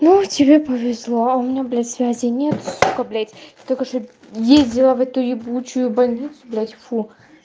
ну тебе повезло у меня блять связей нет сука блять только что ездила в эту ебучую больницу блять фу